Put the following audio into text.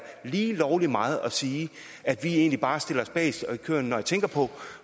lige lovlig meget at sige at vi egentlig bare stiller os bagest i køen når jeg tænker på